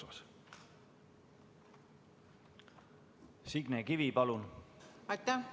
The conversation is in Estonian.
Aitäh!